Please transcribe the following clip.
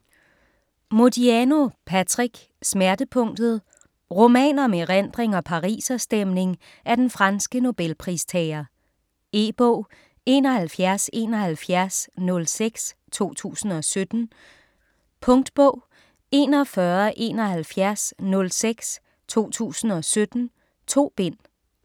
Modiano, Patrick: Smertepunktet Roman om erindring og pariserstemning af den franske Nobelpristager. E-bog 717106 2017. Punktbog 417106 2017. 2 bind.